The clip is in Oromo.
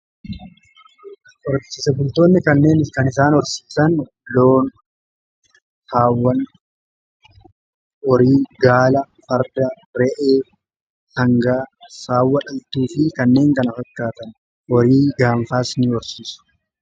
Horsiise bultootni kanneen kan isaan orsiisan loon haawwan horii, gaala, farda, re'ee, sangaa, saawwa dhaltuu fi kanneen kana fakkaatan horii gaanfaas ni horsiisu.